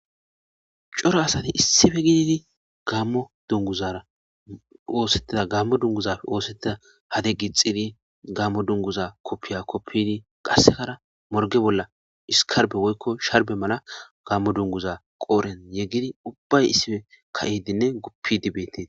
Coro asati issife gididi dzrgammo dunguzafe oosettida hade gi xidi gammo dunguza koppiya koppini qassekara morge bolla iskarbe woykko sharbe mala gammo dunguza qooren yeggidi ubbay issife ka'idinne guppi dibetii.